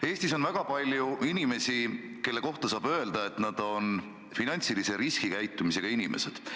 Eestis on väga palju inimesi, kelle kohta võib öelda, et nad on finantsilise riskikäitumisega inimesed.